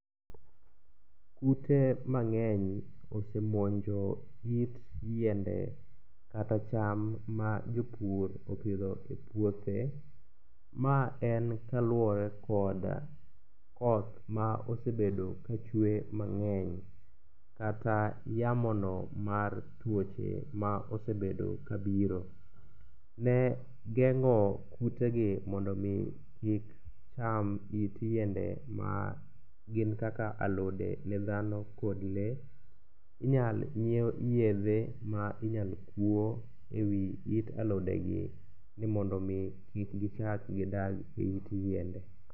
Kute mang'eny osemonjo it yiende kata cham ma jopur opidho e puothe. Ma en kaluwore kod koth ma osebedo ka chwe mang'eny kata yamono mar tuoche ma osebedo kabiro. Ne geng'o kutegi mondo omi kik cham it yiende magin kaka alode ne dhano kod lee, inyal nyiew yedhe ma inyalo kuo e wi it alodegi ni mondo omi kik gichak gidag e it yiende.